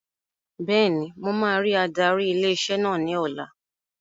Bẹ́ẹ̀ni, mo máa rí adarí ilé iṣẹ́ náà ní ọ̀la